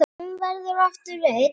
Um að verða aftur einn.